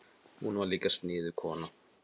Hún var líka sniðug kona.